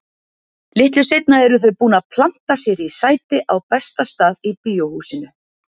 Litlu seinna eru þau búin að planta sér í sæti á besta stað í Bíóhúsinu.